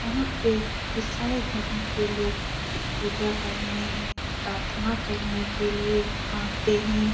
यहाँ पे ईसाई धर्म के लोग पूजा करने प्रर्थना करने के लिए आते हैं ।